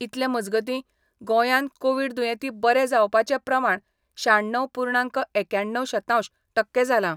इतले मजगती गोंयान कोविड दुयेंती बरे जावपाचे प्रमाण श्याण्णव पूर्णांक एक्याण्णव शतांश टक्के जाला.